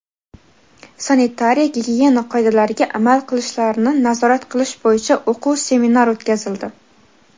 sanitariya-gigiyena qoidalariga amal qilishlarini nazorat qilish bo‘yicha o‘quv seminar o‘tkazildi.